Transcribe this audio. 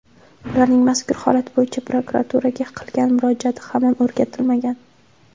Ularning mazkur holat bo‘yicha prokuraturaga qilgan murojaati hamon o‘rganilmagan.